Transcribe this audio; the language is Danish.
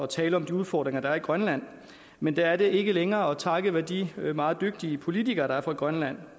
tale om de udfordringer der er i grønland men det er det ikke længere og takket være de meget dygtige politikere der er på grønland